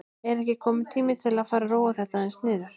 Er ekki kominn tími til að fara að róa þetta aðeins niður?